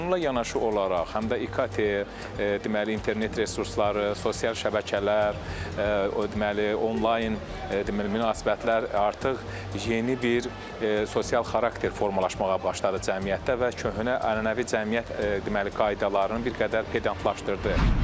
Amma bununla yanaşı olaraq, həm də İKT, deməli, internet resursları, sosial şəbəkələr, deməli, onlayn, deməli, münasibətlər artıq yeni bir sosial xarakter formalaşmağa başladı cəmiyyətdə və köhnə ənənəvi cəmiyyət, deməli, qaydaların bir qədər pedantlaşdırdı.